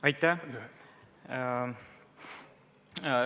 Aitäh!